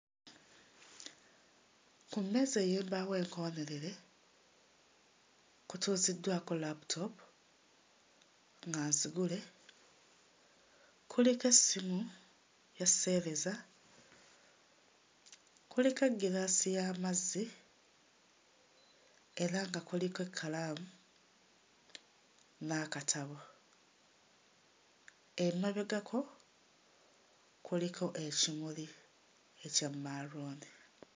Ku mmeeza ey'embaawo enkoonerere kutuuziddwako laputoopu nga nzigule, kuliko essimu ya sseereza, kuliko egiraasi y'amazzi era nga kuliko ekkalaamu n'akatabo. Emabegako kuliko ekimuli ekya maaluuni.